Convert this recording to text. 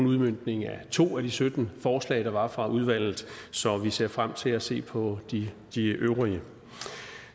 udmøntningen af to af de sytten forslag der var fra udvalget så vi ser frem til at se på de de øvrige